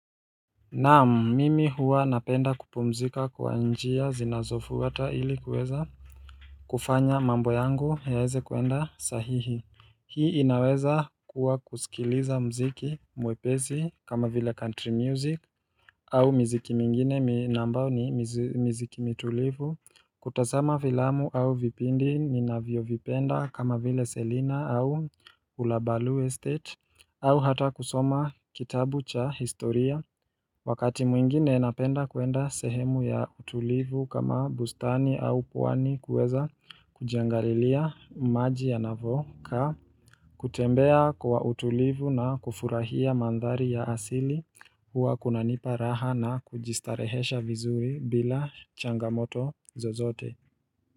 Naam mimi hua napenda kupumzika kwa njia zinazofuata ili kuweza kufanya mambo yangu yaweze kuenda sahihi Hii inaweza kuwa kusikiliza mziki mwepesi kama vile country music au miziki mingine ambao ni mziki mitulivu kutazama filamu au vipindi ninavyo vipenda kama vile selina au ulabalu estate au hata kusoma kitabu cha historia Wakati mwingine napenda kuenda sehemu ya utulivu kama bustani au pwani kuweza kujingalilia maji ya navyovuka, kutembea kwa utulivu na kufurahia mandhari ya asili huwa kunanipa raha na kujistarehesha vizuri bila changamoto zozote.